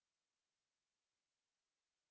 हमसे जुड़ने के लिए धन्यवाद